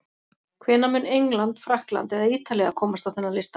Hvenær mun England, Frakkland eða Ítalía komast á þennan lista?